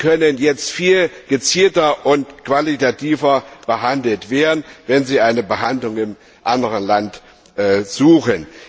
Diese können jetzt viel gezielter und qualitativ besser behandelt werden, wenn sie eine Behandlung in einem anderen Land suchen.